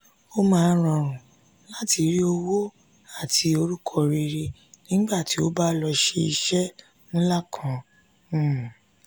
ó máa ń rọrùn láti rí owó àti orúkọ rere nígbà tó o bá lọ ṣe iṣẹ́ ńlá kan um